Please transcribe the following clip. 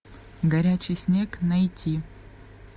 горячий снег найти